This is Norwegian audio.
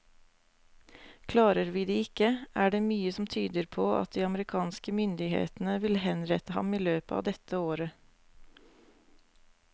Klarer vi det ikke, er det mye som tyder på at de amerikanske myndighetene vil henrette ham i løpet av dette året.